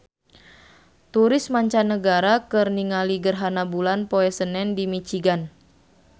Turis mancanagara keur ningali gerhana bulan poe Senen di Michigan